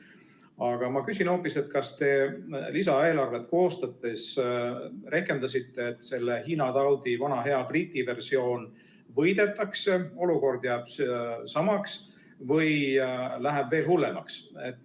Aga ma küsin hoopis, kas te lisaeelarvet koostades rehkendasite sellega, et selle Hiina taudi vana hea Briti versioon võidetakse, olukord jääb samaks või läheb veel hullemaks.